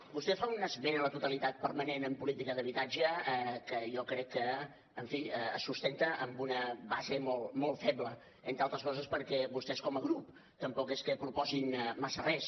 vostè fa una esmena a la totalitat permanent en política d’habitatge que jo crec que en fi es sustenta en una base molt feble entre altres coses perquè vostès com a grup tampoc és que proposin massa res